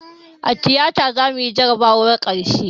A tiyata zamuyi jarabawar karshe